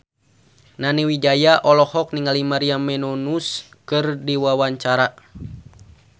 Nani Wijaya olohok ningali Maria Menounos keur diwawancara